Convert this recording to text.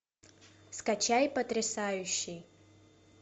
скачай потрясающий